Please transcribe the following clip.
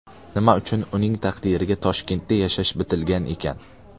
Nima uchun uning taqdiriga Toshkentda yashash bitilgan ekan?”.